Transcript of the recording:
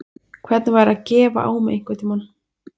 Hvernig væri að gefa á mig einhvern tímann?